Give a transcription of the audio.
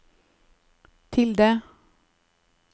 tilde